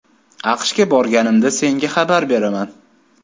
AQShga borganimda senga xabar beraman.